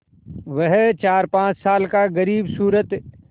वह चारपाँच साल का ग़रीबसूरत